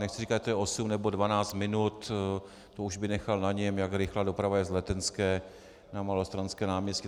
Nechci říkat, že to je 8 nebo 12 minut, to už bych nechal na něm, jak rychlá doprava je z Letenské na Malostranské náměstí.